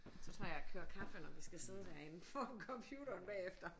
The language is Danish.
Så tror jeg jeg kører kaffe når vi skal sidde derinde foran computeren bagefter